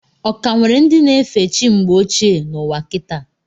Ọ ka nwere ndị na efe chi mgbe ochie n' ụwa kita?